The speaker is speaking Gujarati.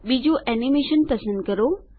બીજું એનીમેશન પસંદ કરો